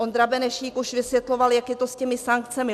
Ondra Benešík už vysvětloval, jak je to s těmi sankcemi.